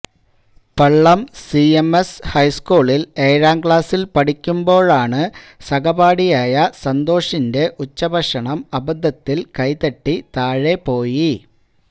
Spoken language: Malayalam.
പള്ളം സിഎംഎസ് ഹൈസ്കൂളില് ഏഴാം ക്ലാസില് പഠിക്കുമ്പോള് സഹപാഠിയായ സന്തോഷിന്റെ ഉച്ചഭക്ഷണം അബദ്ധത്തില് കൈതട്ടി താഴെ പോയി